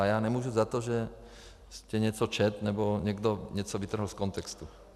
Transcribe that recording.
A já nemůžu za to, že jste něco četl nebo někdo něco vytrhl z kontextu.